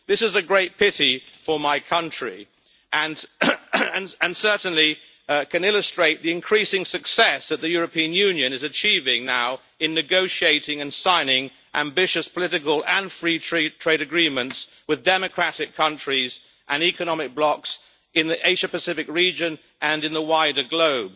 This is a great pity for my country, and certainly can illustrate the increasing success that the European Union is achieving now in negotiating and signing ambitious political and free trade agreements with democratic countries and economic blocs in the Asia Pacific region and in the wider globe.